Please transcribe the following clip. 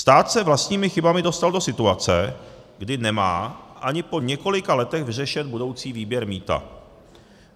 Stát se vlastními chybami dostal do situace, kdy nemá ani po několika letech vyřešen budoucí výběr mýta.